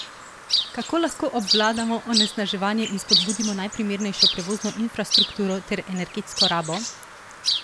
Kako lahko obvladamo onesnaževanje in spodbudimo najprimernejšo prevozno infrastrukturo ter energetsko rabo?